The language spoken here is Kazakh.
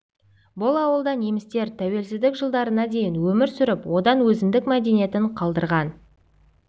бұл ауылда немістер тәуелсіздік жылдарына дейін өмір сүріп онда өзіндік мәдениетін қалдырған